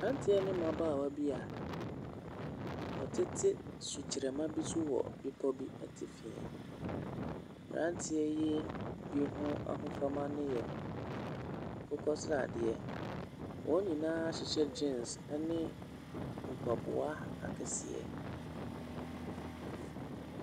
Mmeranteɛ ne mmabaawa bi a wɔtete sukyerɛma bi so wɔ bepɔ bi atifi. Mmeranteɛ yi bi ho ahofama no yɛ akokɔ sradeɛ. Wɔn nyinaa ahyehyɛ jeans ne mpaboa akɛseɛ.